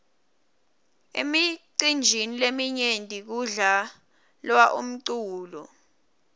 emicinjini leminyenti kudla lwa umculo